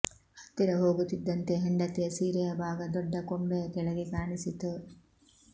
ಹತ್ತಿರ ಹೋಗುತ್ತಿದ್ದಂತೆ ಹೆಂಡತಿಯ ಸೀರೆಯ ಭಾಗ ದೊಡ್ಡ ಕೊಂಬೆಯ ಕೆಳಗೆ ಕಾಣಿಸಿತು